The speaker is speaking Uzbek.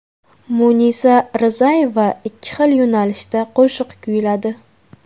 Munisa Rizayeva ikki xil yo‘nalishda qo‘shiq kuyladi.